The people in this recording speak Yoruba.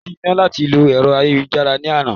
Kò sí iná láti lo ẹ̀rọ ayélujára ní àná